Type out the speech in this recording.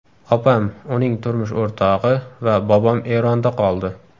Opam, uning turmush o‘rtog‘i va bobom Eronda qoldi.